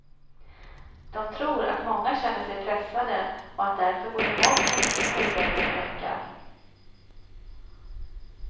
De tror att många känner sig pressade och att därför både mobbning och skolvägran ökar.